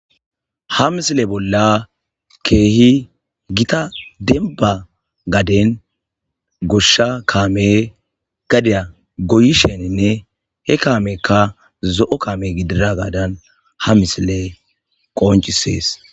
ha misile bolla keehi gita denba gaden goshsha kaame gadeya goyi sheninne he kaamekka zo7o kaame gidira gaadan ha misile qooncisees